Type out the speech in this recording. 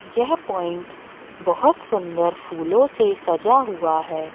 यह पॉइंट बहोत सुंदर फूलों से सजा हुआ है।